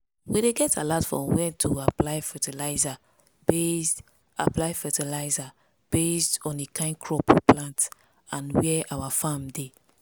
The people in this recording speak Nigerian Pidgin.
we dey get alert for when to apply fertiliser based apply fertiliser based on the kind crop we plant and where our farm dey.